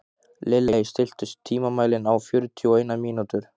Lilley, stilltu tímamælinn á fjörutíu og eina mínútur.